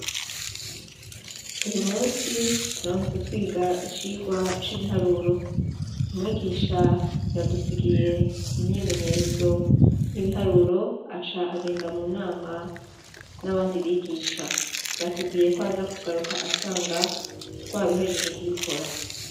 Uyu musi turamutse twiga icigwa c'ibiharuro. Mwigisha yadusigiye imyimenyerezo y'ibiharuro, aca agenda mu nama n'abandi bigisha. Yatubwiye ko aza kugaruka asanga twabihejeje kubikora.